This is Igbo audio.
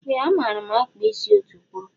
Ee a maara m akpa isi ọtukwuru.